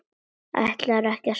Ætlarðu ekki að svara mér?